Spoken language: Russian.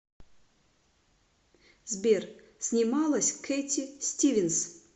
сбер снималась кэтти стивенс